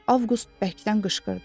Avqust bərkdən qışqırdı.